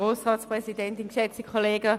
der BaK. Es tut mir leid.